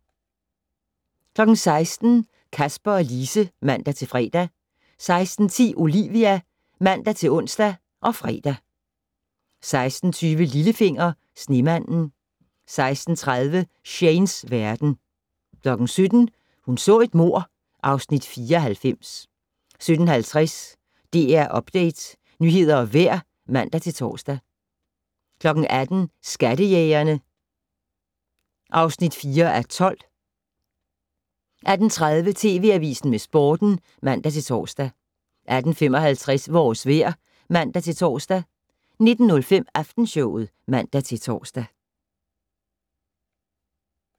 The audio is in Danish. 16:00: Kasper og Lise (man-fre) 16:10: Olivia (man-ons og fre) 16:20: Lillefinger - Snemanden 16:30: Shanes verden 17:00: Hun så et mord (Afs. 94) 17:50: DR Update - nyheder og vejr (man-tor) 18:00: Skattejægerne (4:12) 18:30: TV Avisen med Sporten (man-tor) 18:55: Vores vejr (man-tor) 19:05: Aftenshowet (man-tor)